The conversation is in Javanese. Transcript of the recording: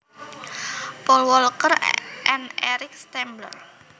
Paul Walker and Eric Stambler